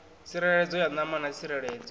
tsireledzo ya ṋama na tsireledzo